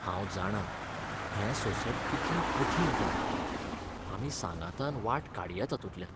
हांव जाणां हें सोंसप कितलें कठीण तें! आमी सांगातान वाट काडया तांतूतल्यान.